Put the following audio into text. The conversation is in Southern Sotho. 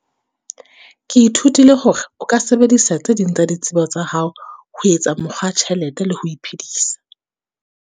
Ke ithutile hore o ka sebedisa tse ding tsa ditsebo tsa hao, ho etsa mokgwa wa tjhelete le ho iphedisa.